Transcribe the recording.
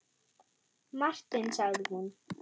Martin sagði hún.